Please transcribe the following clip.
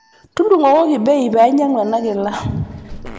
Tudung'okoki bei pee ainyang'u ena kila.